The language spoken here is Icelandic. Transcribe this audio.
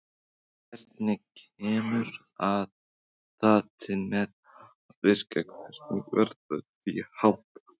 Hvernig kemur það til með að virka og hvernig verður því háttað?